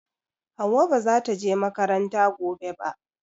Hauwa ba zata je makaranta gobe ba